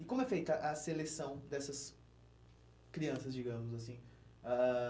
E como é feita a seleção dessas crianças, digamos assim? Ãh ãh